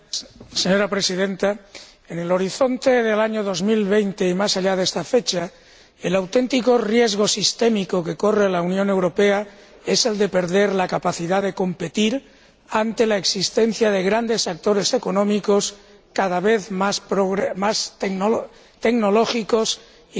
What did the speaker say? Señora Presidenta, en el horizonte del año 2020 y más allá de esta fecha, el auténtico riesgo sistémico que corre la Unión Europea es el de perder la capacidad de competir ante la existencia de grandes sectores económicos, cada vez más tecnológicos y